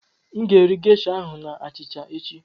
Aga m eri gesha ahụ na achịcha echi.